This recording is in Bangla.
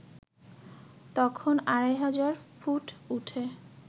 তখন আড়াই হাজার ফুট উঠে